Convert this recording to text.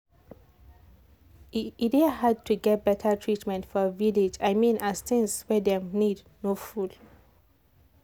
e dey hard to get better treatment for village i mean as things wey dem need no full.